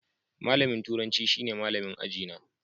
Malamin turanci shine malamin aji na.